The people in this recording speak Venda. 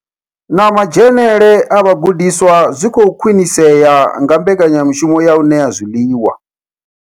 Na madzhenele a vhagudiswa zwi khou khwinisea nga mbekanya mushumo ya u ṋea zwiḽiwa.